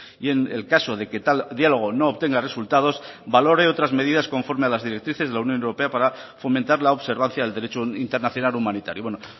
y en el caso de que tal diálogo no obtenga resultados valore otras medidas conforme a las directrices de la unión europea para fomentar la observancia del derecho internacional humanitario bueno